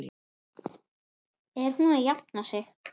Er hún að jafna sig?